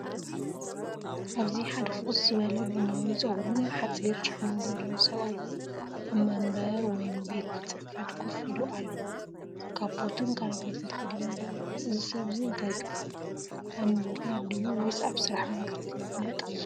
ኣብዚ ሓደ ፍኹስ ዝበለ ቡናዊ ጸጉሩን ሓጺር ጭሕሙን ዘለዎ ሰብኣይ፡ ኣብ መንበር ወይ ቤት ጽሕፈት ኮፍ ኢሉ ኣሎ። ካፖትን ክራቫታን ተኸዲኑ ይርአ። እዚ ሰብ እዚ እንታይ ትብሉ? ኣብ ምምሃር ድዩ ወይስ ኣብ ስራሕ መንግስቲ ይነጥፍ?